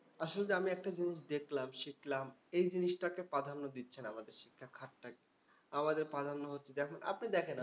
আসলে যে আমি একটা জিনিস দেখলাম, শিখলাম। এই জিনিসটাকে প্রাধান্য দিচ্ছে না আমাদের শিক্ষা খাতটা। আমাদের প্রাধান্য হচ্ছে আপনি দেখেন